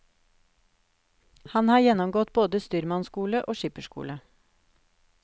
Han har gjennomgått både styrmannsskole og skipperskole.